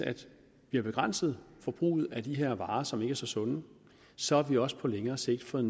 vi har begrænset forbruget af de her varer som ikke er så sunde så har vi også på længere sigt fået